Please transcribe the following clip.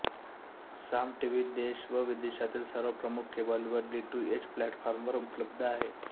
साम TV देश व विदेशातील सर्व प्रमुख केबल व डिटूएच प्लॅटफाॅर्मवर उपलब्ध आहे